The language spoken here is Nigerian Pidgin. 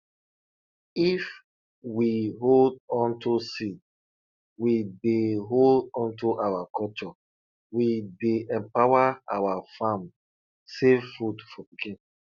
if we hold onto seed we dey hold onto our culture we dey empower our farm save food for pikin